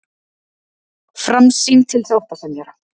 Framsýn til sáttasemjara